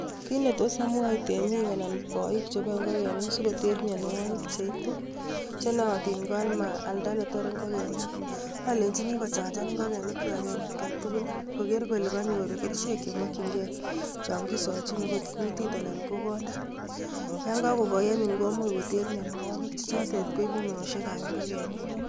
Kit ne tos amwachi temik anan boik cheboei ngokenik, sikoter mianwogik cheitu chenoatin ko amalda netorei ngokenik, alenjini kochanjan ngokenik kwai en atkan tugul. Koker kole kanyor kerchek chemakchingei en atkan tukul. Chon kisachini akot kutit anan ko konda. yon kakokoi anyun komuch koter mianwagik che chotet koibu meoshekab ngokenik.